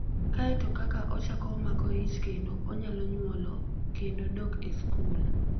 Kae to ka ochako omako ich kendo, onyalo nyuolo, kendo dok e skul.